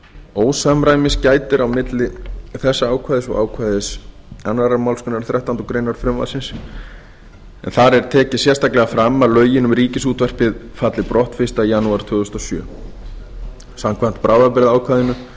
ósamræmis gætir á milli þessa ákvæðis og ákvæðis annarrar málsgreinar þrettándu greinar frumvarpsins en þar er tekið sérstaklega fram að lögin um ríkisútvarpið falli brott fyrsta janúar tvö þúsund og sjö samkvæmt bráðabirgðaákvæðinu